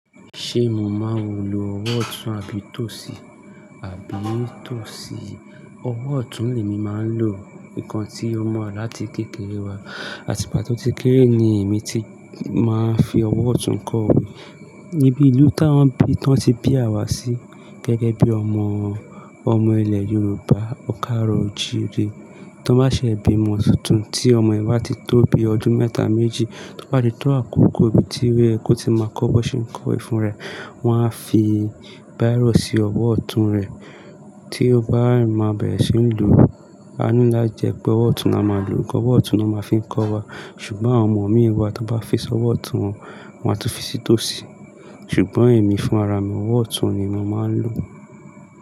Ṣé mo máa ò lo ọwọ́ ọ̀tún àbí tòsí? Àbí tòsí? Ọwọ́ ọ̀tún ni èmi máa ń lò. Nǹkan tí ó mọ̀ wa lára láti kékeré wa, àti ìgbà tí mo ti kéré ni èmi ti máa ń fi ọwọ́ ọ̀tún kọ́ òwe. Níbi ìlú tá ń bí, tán tí bí àwa sí gẹ́gẹ́ bí ọmọ, ọmọ ilẹ̀ Yorùbá kaaro-o-jiire. Tí wọ́n bá ṣe bímọ tuntun tí ọmọ yẹn ba ti tóbi ọdún mẹ́ta méjì, tó bá di tó àkókò ibi ti o yẹ kó ti máa kọ́ bó ṣe ń wẹ fun raẹ̀. Wọn a fi bírò si ọwọ́ ọ̀tún rẹ̀ tí ó bá ń má bẹ̀rẹ̀ sí ń loo. A ní lá ti jẹ̀ pé ọwọ́ ọ̀tún ni a máa ń lo, cause, ọwọ́ ọ̀tún ni won máa ń fi kọ́ wa. Ṣùgbọ́n àwọn ọmọ mí wa, ti wọn bá fi sí ọwọ́ ọ̀tún wọn, wọ́n á tún fi sí tòsí. Ṣùgbọ́n èmi fún ara mi, ọwọ́ ọ̀tún ni mo máa ń lò.